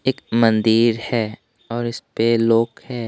एक मंदिर है और उसपे लोग हैं।